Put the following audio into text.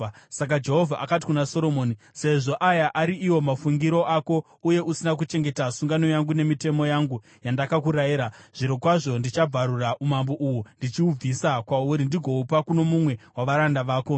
Saka Jehovha akati kuna Soromoni, “Sezvo aya ari iwo mafungiro ako uye usina kuchengeta sungano yangu nemitemo yangu yandakakurayira, zvirokwazvo ndichabvarura umambo uhu ndichihubvisa kwauri ndigohupa kuno mumwe wavaranda vako.